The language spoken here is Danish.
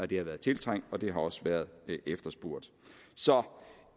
det har været tiltrængt og det har også været efterspurgt så